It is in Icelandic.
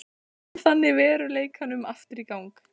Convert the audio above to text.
Kom þannig veruleikanum aftur í gang.